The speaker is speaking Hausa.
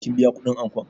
Kin biya kuɗin ankon?